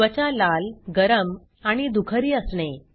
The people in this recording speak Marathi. त्वचा लाल गरम आणि दुखरी असणे